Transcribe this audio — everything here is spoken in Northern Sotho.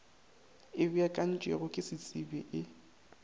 e beakantšwego ke setsebi e